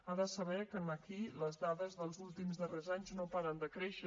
ha de saber que aquí les dades dels últims darrers anys no paren de créixer